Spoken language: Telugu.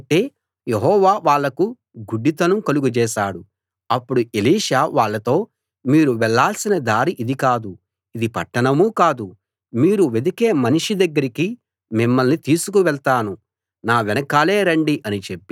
అప్పుడు ఎలీషా వాళ్ళతో మీరు వెళ్ళాల్సిన దారి ఇది కాదు ఇది పట్టణమూ కాదు మీరు వెదికే మనిషి దగ్గరికి మిమ్మల్ని తీసుకు వెళ్తాను నా వెనకాలే రండి అని చెప్పి వాళ్ళను షోమ్రోను పట్టణంలోకి తీసుకు వెళ్ళాడు